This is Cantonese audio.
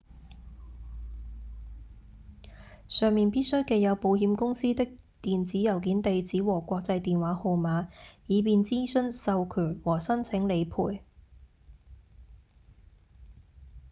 上面必須記有保險公司的電子郵件地址和國際電話號碼以便諮詢/授權和申請理賠